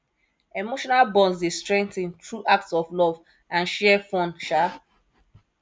emotional bonds dey strengthen through acts of love and shared fun um